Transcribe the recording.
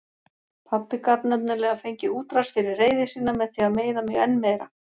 Pabbi gat nefnilega fengið útrás fyrir reiði sína með því að meiða mig enn meira.